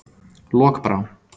Lokbrá